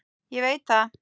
Ég veit það